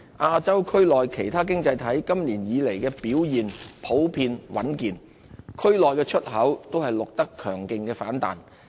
亞洲區內其他經濟體今年以來的表現普遍穩健，區內出口均錄得強勁反彈。